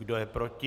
Kdo je proti?